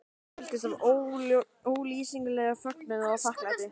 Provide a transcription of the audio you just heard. Ég fylltist ólýsanlegum fögnuði og þakklæti.